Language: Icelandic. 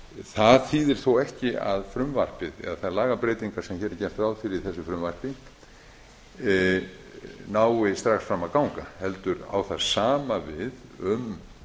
það þýðir þó ekki að frumvarpið eða þær lagabreytingar sem hér er gert ráð fyrir í þessu frumvarpi nái strax fram að ganga heldur á það sama við um